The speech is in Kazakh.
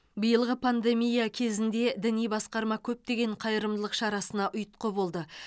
биылғы пандемия кезінде діни басқарма көптеген қайырымдылық шарасына ұйытқы болды